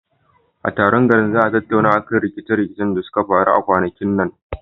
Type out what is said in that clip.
A taron garin za a tattauna akan rikice rikicen da suka faru a kwanakin nan.